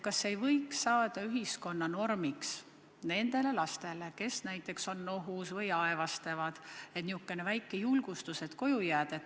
Kas see ei võiks saada ühiskonnas normiks nende laste puhul, kes on näiteks nohused või aevastavad – niisugune väike julgustus, et koju jääda?